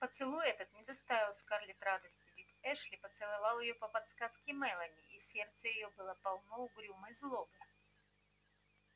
поцелуй этот не доставил скарлетт радости ведь эшли поцеловал её по подсказке мелани и сердце её было полно угрюмой злобы